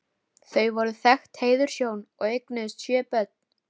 Þau voru þekkt heiðurshjón og eignuðust sjö börn.